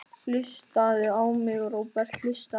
Hlustaðu á mig, Róbert, hlustaðu á mig.